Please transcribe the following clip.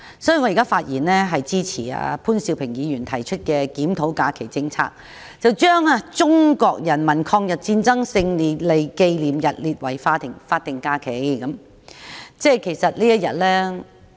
所以，我現在發言支持潘兆平議員提出的"檢討假期政策"議案，把中國人民抗日戰爭勝利紀念日列為法定假日。